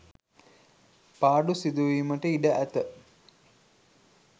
පාඩු සිදුවීමට ඉඩ ඇත.